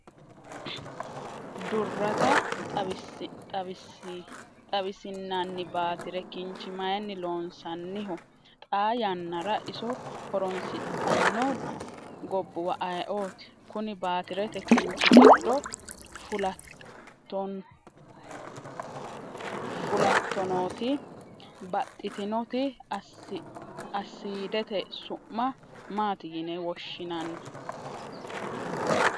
durrata xawisinani baatire kinchi mayini loonsaniho? xaa yaanara iso horonsinxano goobuwa ayeoti? koni baatireti kinchi giddo fulatonoti baxitinoti assidete su'ma mati yine woshinani?